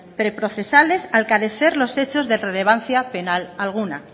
pre procesales al carecer los hechos de relevancia penal alguna